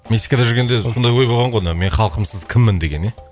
мексикада жүргенде сондай ой болған ғой мына мен халқымсыз кіммін деген ия